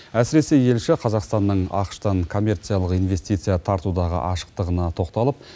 әсіресе елші қазақстанның ақш тан коммерциялық инвестиция тартудағы ашықтығына тоқталып